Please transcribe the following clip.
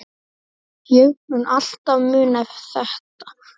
Ég mun alltaf muna þetta.